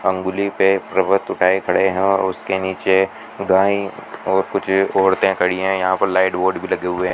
उंगली पे पर्वत उठाएं खड़े हैं उसके नीचे गाएं और कुछ औरतें खड़ी है यहां पर लाइट बोर्ड लगे हुए --